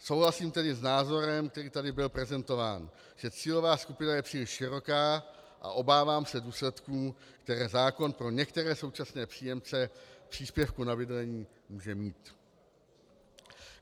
Souhlasím tedy s názorem, který tady byl prezentován, že cílová skupina je příliš široká, a obávám se důsledků, které zákon pro některé současné příjemce příspěvku na bydlení může mít.